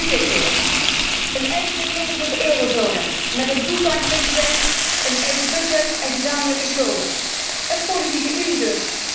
En nu dit weer een eigen regering voor de eurozone, met een fulltime president, een eigen budget en gezamenlijke schulden, een politieke unie dus.